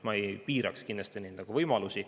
Ma kindlasti ei piiraks neid võimalusi.